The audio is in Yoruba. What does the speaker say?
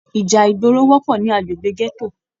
Ìjà ìgboro wọpọ ní agbègbè gẹto.